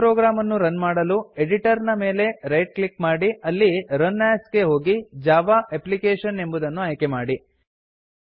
ಈ ಪ್ರೊಗ್ರಾಮ್ ಅನ್ನು ರನ್ ಮಾಡಲು ಎಡಿಟರ್ ಮೇಲೆ ರೈಟ್ ಕ್ಲಿಕ್ ಮಾಡಿ ಅಲ್ಲಿ ರನ್ ಎಎಸ್ ಗೆ ಹೋಗಿ ಜಾವಾ ಅಪ್ಲಿಕೇಶನ್ ಎಂಬುದನ್ನು ಆಯ್ಕೆ ಮಾಡಿ